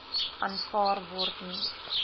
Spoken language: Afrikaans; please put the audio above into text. aanvaar word nie